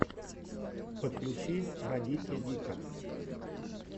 подключи радитья дика